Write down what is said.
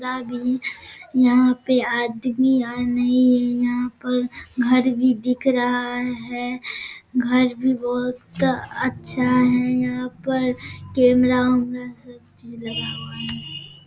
रा भी यहां पे आदमी आज नहीं है। यहाँ पर घर भी दिख रहा है। घर भी बोहोत अच्छा है यहाँ पर कैमरा वेमरा सब चीज लगा हुआ है।